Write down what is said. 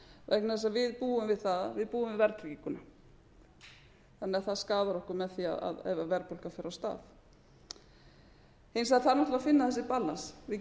vegna þess að við búum við það við búum við verðtrygginguna þannig að það skaðar okkur með því ef verðbólga fer á stað hins vegar þarf náttúrlega að finna þessi balance við